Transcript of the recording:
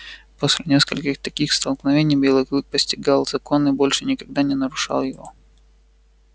после нескольких таких столкновений белый клык постигал закон и больше никогда не нарушал его